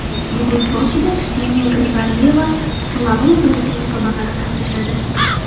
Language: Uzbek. Bugun Sochida Kseniya Grigoryeva slalom bo‘yicha musobaqada qatnashadi.